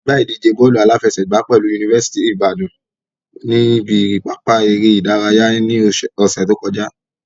A gbá ìdíje bọ́ọ̀lù aláfẹsẹ̀gbàá pẹ̀lú yunifásítì ìbàdàn ní ibi pápá eré ìdárayá ní ọ̀ṣẹ̀ tí ó kọjá.